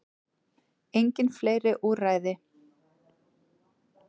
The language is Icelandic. Engin fleiri úrræði